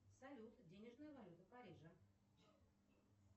салют денежная валюта парижа